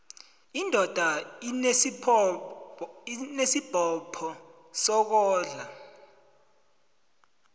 indoda inesibopho sokondla